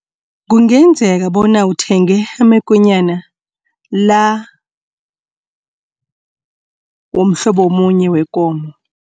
Kungenzeka bona uthenge amakonyana la womhlobo omunye wekomo.